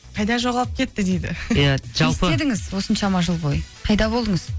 қайда жоғалып кетті дейді иә жалпы не істедіңіз осыншама жыл бойы қайда болдыңыз